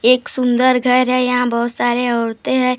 एक सुंदर घर है यहाँ बहुत सारे औरतें हैं।